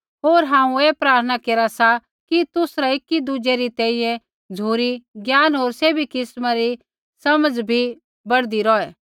होर हांऊँ ऐ प्रार्थना केरा सा कि तुसरा एकी दुज़ै री तैंईंयैं झ़ुरी ज्ञान होर सैभी किस्मा री समझ़ भी बढ़दी रौहै